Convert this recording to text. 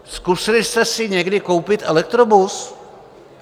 Zkusili jste si někdy koupit elektrobus?